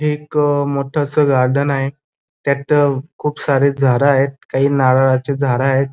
हे एक मोठ अस गार्डन आहे त्यात खूप सारे झाडे आहेत काही नारळाची झाड आहेत.